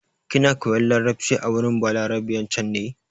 Kina koyan larabci a wurin Balaraben can ne?